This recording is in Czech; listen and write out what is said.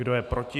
Kdo je proti?